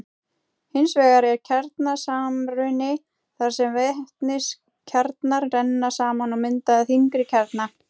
Hins vegar er kjarnasamruni þar sem vetniskjarnar renna saman og mynda þyngri kjarna.